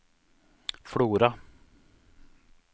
Flora